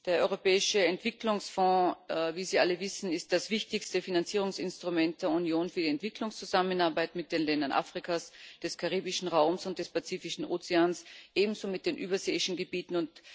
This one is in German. Der Europäische Entwicklungsfonds ist wie Sie alle wissen das wichtigste Finanzierungsinstrument der Union für die Entwicklungszusammenarbeit mit den Ländern Afrikas, des Karibischen Raums und des Pazifischen Ozeans, ebenso mit den überseeischen Gebieten.